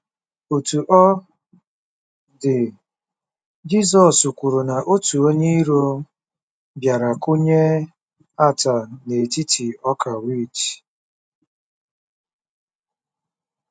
Otú ọ dị, Jizọs kwuru na otu onye iro bịara “kụnye ata n’etiti ọka wit.”